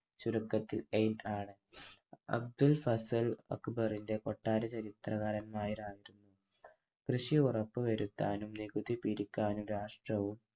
ചുരുക്കത്തിൽ എയ്റ്റാൻ അബ്ദുൾ ഫസൽ അക്ബാറിന്‍റെ കൊട്ടാര ചരിത്രകാരമായ കൃഷി ഉറപ്പുവരുത്താനും നികുതി പിരിക്കാനും രാഷ്ട്രവും